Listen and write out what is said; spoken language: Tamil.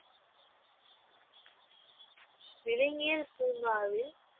விலங்கியல் பூங்காவில்